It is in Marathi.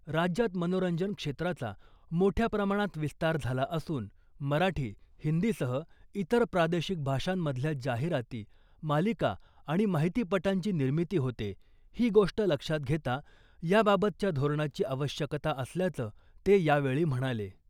राज्यात मनोरंजन क्षेत्राचा मोठ्या प्रमाणात विस्तार झाला असून , मराठी , हिंदीसह इतर प्रादेशिक भाषांमधल्या जाहिराती , मालिका आणि माहितीपटांची निर्मिती होते , ही गोष्ट लक्षात घेता याबाबतच्या धोरणाची आवश्यकता असल्याचं ते यावेळी म्हणाले .